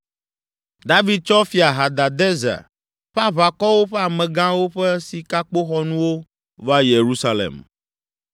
David tsɔ Fia Hadadezer ƒe aʋakɔwo ƒe amegãwo ƒe sikakpoxɔnuwo va Yerusalem,